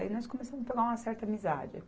Aí nós começamos a pegar uma certa amizade.